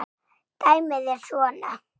Dæmið er svona